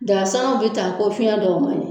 Daga sanna bɛ taa ko fiɲɛ dɔw man ɲin.